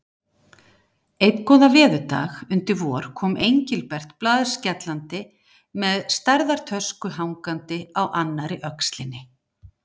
Einn góðan veðurdag undir vor kom Engilbert blaðskellandi með stærðar tösku hangandi á annarri öxlinni.